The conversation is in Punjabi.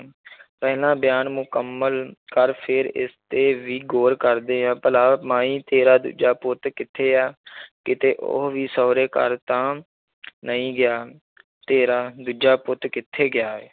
ਪਹਿਲਾਂ ਬਿਆਨ ਮੁਕੰਮਲ ਕਰ, ਫੇਰ ਇਸ 'ਤੇ ਵੀ ਗੌਰ ਕਰਦੇ ਆਂ, ਭਲਾ ਮਾਈ, ਤੇਰਾ ਦੂਜਾ ਪੁੱਤ ਕਿੱਥੇ ਹੈ ਕਿਤੇ ਉਹ ਵੀ ਸਹੁਰੇ-ਘਰ ਤਾਂ ਨਹੀਂ ਗਿਆ ਤੇਰਾ ਦੂਜਾ ਪੁੱਤ ਕਿੱਥੇ ਗਿਆ ਹੈ।